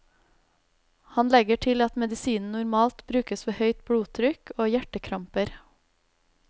Han legger til at medisinen normalt brukes ved høyt blodtrykk og hjertekramper.